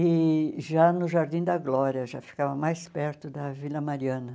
E já no Jardim da Glória, já ficava mais perto da Vila Mariana.